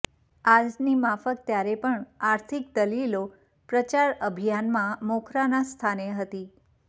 આજની માફક ત્યારે પણ આર્થિક દલીલો પ્રચાર અભિયાનમાં મોખરાના સ્થાને હતી